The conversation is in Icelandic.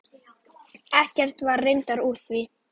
Ekkert var reyndar úr því.